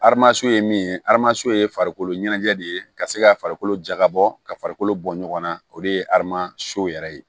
ye min ye ye farikolo ɲɛnajɛ de ye ka se ka farikolo jakabɔ ka farikolo bɔ ɲɔgɔn na o de ye aramaso yɛrɛ ye